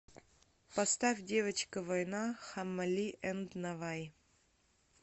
поставь девочка война хаммали энд наваи